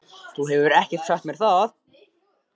Þú hefur ekkert sagt mér það!